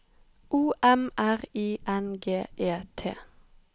O M R I N G E T